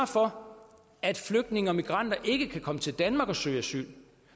for at flygtninge og migranter ikke kan komme til danmark og søge asyl